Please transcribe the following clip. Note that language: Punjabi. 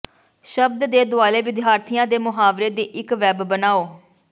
ਸ਼ਬਦ ਦੇ ਦੁਆਲੇ ਵਿਦਿਆਰਥੀਆਂ ਦੇ ਮੁਹਾਵਰੇ ਦੀ ਇੱਕ ਵੈੱਬ ਬਣਾਓ